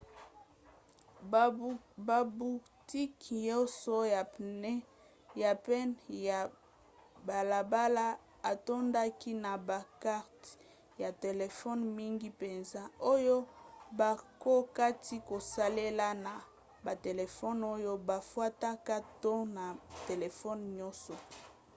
babutiki nyonso ya pene ya balabala etondaki na bakarte ya telefone mingi mpenza oyo bakokaki kosalela na batelefone oyo bafutaka to na batelefone nyonso